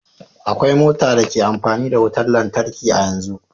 Akwai mota da ke amfani da wutar lantarki a yanzu